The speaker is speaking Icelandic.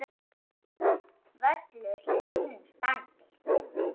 Völlur í fínu standi.